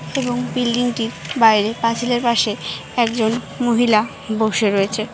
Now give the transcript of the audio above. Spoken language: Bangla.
এবং বিল্ডিংটির বাইরে পাঁচিলের পাশে একজন মহিলা বসে রয়েছে।